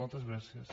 moltes gràcies